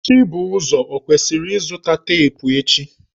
Chibuzo ọ kwesiri izụta teepụ echi?